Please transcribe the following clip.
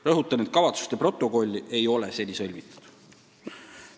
Rõhutan, et kavatsuste protokolli ei ole seni sõlmitud.